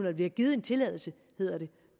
og vi har givet en tilladelse hedder det